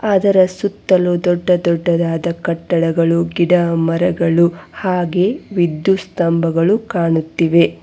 ಅದರ ಸುತ್ತಲು ದೊಡ್ಡ ದೊಡ್ಡದಾದ ಕಟ್ಟಡಗಳು ಗಿಡ ಮರಗಳು ಹಾಗೆ ವಿದ್ಯುತ್ ಸ್ಥಂಭಗಳು ಕಾಣುತ್ತಿವೆ.